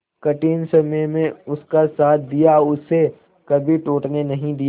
कठिन समय में उसका साथ दिया उसे कभी टूटने नहीं दिया